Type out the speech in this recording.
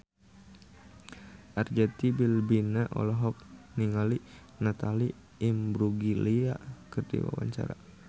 Arzetti Bilbina olohok ningali Natalie Imbruglia keur diwawancara